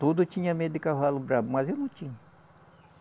Todo tinha medo de cavalo bravo, mas eu não tinha.